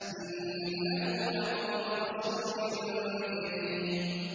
إِنَّهُ لَقَوْلُ رَسُولٍ كَرِيمٍ